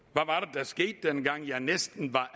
der skete dengang ja næsten